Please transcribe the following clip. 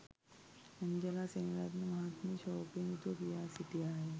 Angela Seneviratne මහත්මිය ශෝකයෙන් යුතුව කියා සිටියාය